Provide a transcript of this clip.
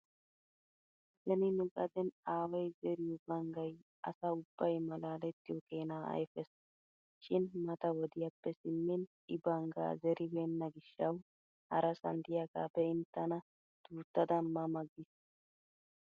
Beni nu gadeeni aaway zeriyo banggay asa ubbay malaalettiyo keenaa ayfees. Shin mata wodiyappe simmin I banggaa zeribeenna gishshawu harasan diyaga be'in tana duuttada ma ma giis.